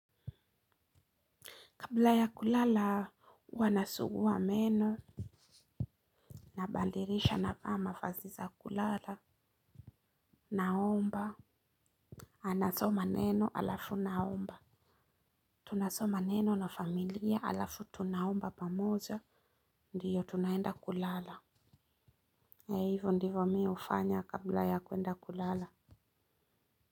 Kabla ya kulala, huwa ninasugua meno. Ninabadilisha navaa mavazi za kulala. Naomba. Anasoma neno alafu naomba. Tunasoma neno na familia alafu tunaomba pamoja. Ndiyo twende kulala. Hivo ndivyo hufanya kabla ya kwenda kulala.